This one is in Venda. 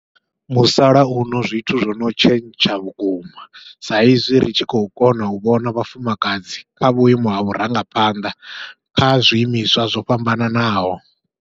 Musalauno zwithu zwono tshentsha vhukuma, sa izwi ri tshi khou kona u vhona vhafumakadzi kha vhuimo ha vhurangaphanḓa kha zwiimiswa zwo fhambananaho.